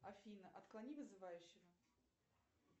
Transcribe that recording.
афина отклони вызывающего